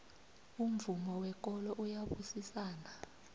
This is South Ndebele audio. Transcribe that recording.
umvumo wekolo uyabusisana